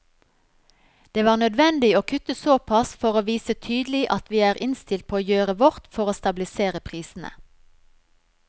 Det var nødvendig å kutte såpass for å vise tydelig at vi er innstilt på å gjøre vårt for å stabilisere prisene.